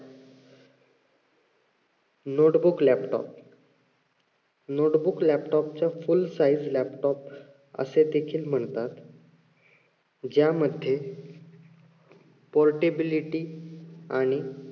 notebook laptop notebook laptop चा full size laptop अशे देखील म्हणतात. ज्यामध्ये portability आणि